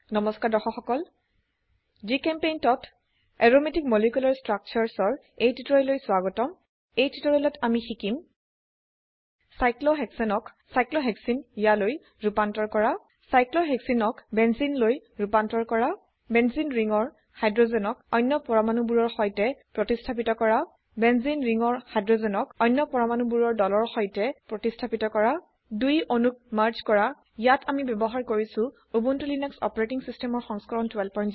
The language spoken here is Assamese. নমস্কাৰ দৰ্শক সকল জিচেম্পেইণ্ট তAromatic মলিকিউলাৰ Structuresএই টিউটোৰিয়েললৈ স্বাগতম এই টিউটোৰিয়েলত আমি শিকিম Cyclohexaneক Cyclohexeneইয়ালৈলৈ ৰুপান্তৰ কৰা Cyclohexeneক বেঞ্জেনে লৈ ৰুপান্তৰ কৰ বেঞ্জেনে ringৰ Hydrogenক অন্য পৰমাণুবোৰৰ সৈতে প্ৰতিস্হাপিতবিকল্প কৰা বেঞ্জেনে ringৰ Hydrogenক অন্য পৰমাণুবোৰৰ দলৰ সৈতে প্ৰতিস্হাপিত বিকল্প কৰা দুই অণুক মাৰ্জ কৰা ইয়াত আমি ব্যবহাৰ কৰিছো উবুন্টু লিনাক্স অপাৰেটিং সিস্টেমৰ সংস্কৰণ 1204